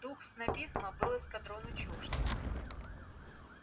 дух снобизма был эскадрону чужд